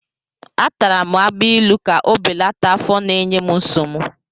Atara m agbailu ka o belata afọ na-enye m nsogbu.